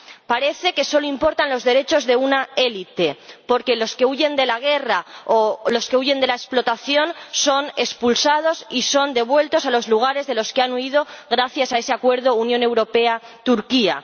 Parece que solo importan los derechos de una élite, porque los que huyen de la guerra o los que huyen de la explotación son expulsados y son devueltos a los lugares de los que han huido gracias a ese Acuerdo Unión Europea Turquía.